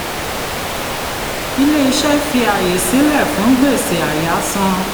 ilé-iṣẹ́ fi ààyè sílẹ̀ fún gbèsè àyáàsan.